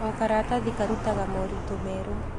O karatathi karutaga moritũ merũ.